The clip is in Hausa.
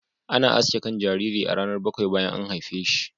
Ana aske kan jariri a ranar bakwai bayan an haife shi.